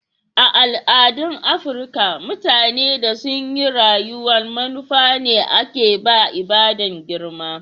A' al'adun Afrika, mutane da sun yi rayuwa'n manufa ne ake ba ibada'n girma.